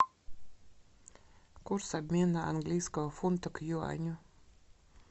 курс обмена английского фунта к юаню